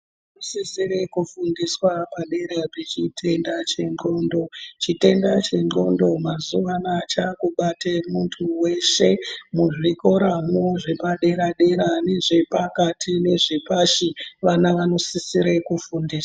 Sisire kufundiswa padera pechitenda chendxondo chitenda chendxondo mazuwa anaa chakubate muntu weshe muzvikora mwo zvepdadera dera nezvepakati nezvepashi vana vanosisire kufundiswa.